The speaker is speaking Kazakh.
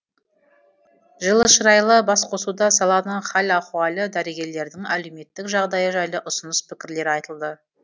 жылышырайлы басқосуда саланың хал ахуалы дәрігерлердің әлеуметтік жағдайы жайлы ұсыныс пікірлер айтылды